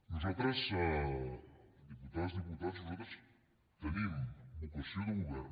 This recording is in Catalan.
nosaltres diputades diputats tenim vocació de govern